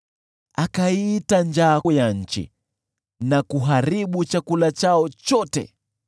Akaiita njaa juu ya nchi na kuharibu chakula chao chote,